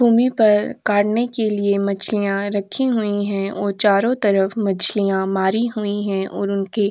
भूमि पर काटने के लिए मछलियाँ रखी हुई हैं और चारों तरफ मछलियाँ मारी हुई हैं और उनके --